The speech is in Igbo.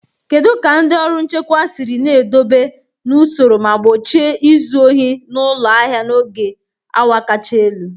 Kedu ka ndị ọrụ nchekwa siri na-edobe n'usoro ma gbochie izu ohi na ụlọ ahịa n'oge awa kacha elu?